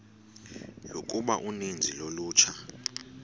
yokuba uninzi lolutsha